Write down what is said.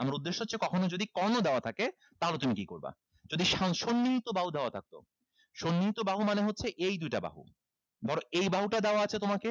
আমার উদ্দেশ্য হচ্ছে কখনো যদি কর্ণ দেওয়া থাকে তাহলে তুমি কি করবা যদি সন্নিহিত বাহু দেওয়া থাকতো সন্নিহিত বাহু মানে হচ্ছে এই দুইটা বাহু ধরো এই বাহুটা দেওয়া আছে তোমাকে